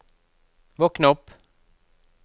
våkn opp